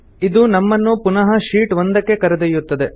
ಇದು ನಮ್ಮನ್ನು ಪುನಃ ಶೀಟ್ 1ಕ್ಕೆ ಕರೆದೊಯ್ಯುತ್ತದೆ